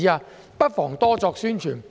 政府不妨多作宣傳。